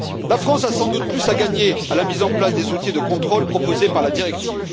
La France a sans doute plus à gagner à la mise en place des outils de contrôle proposés par la directive.